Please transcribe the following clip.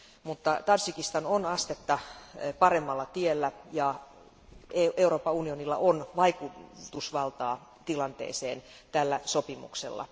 Mutta Tadžikistan on astetta paremmalla tiellä, ja Euroopan unionilla on vaikutusvaltaa tilanteeseen tällä sopimuksella.